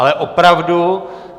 Ale opravdu.